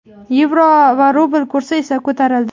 Yevro va rubl kursi esa ko‘tarildi.